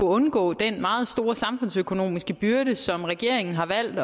undgå den meget store samfundsøkonomiske byrde som regeringen har valgt